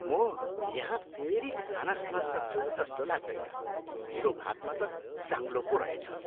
म यहाँ फेरि खाना खान सक्छु जस्तो लाग्दैन, मेरो भातमा त साङ्लो पो रहेछ।